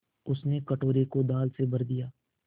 उसने कटोरे को दाल से भर दिया